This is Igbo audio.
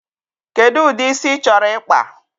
Kedụ ụdị isi ị chọrọ ịkpa?